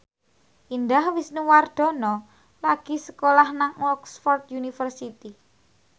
Indah Wisnuwardana lagi sekolah nang Oxford university